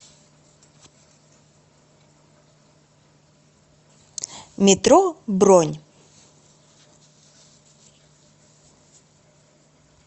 метро бронь